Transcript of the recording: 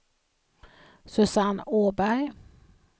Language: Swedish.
Susanne Åberg